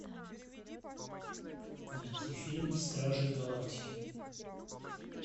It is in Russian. найти фильм стражи галактики